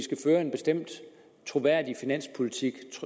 fører en bestemt troværdig finanspolitik